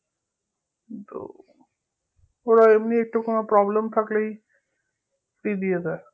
কিন্তু ওরা এমনি একটু কোনো problem থাকলেই দিয়ে দেয়